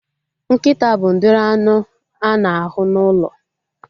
Nkịta bụ udiri anụ a na-ahụ n'ụlọ